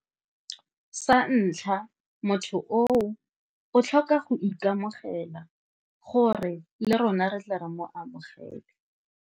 Sa ntlha motho oo o tlhoka go ikamogela gore le rona re tle re mo amogele.